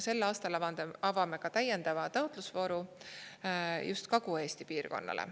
Sel aastal avame ka täiendava taotlusvooru just Kagu-Eesti piirkonnale.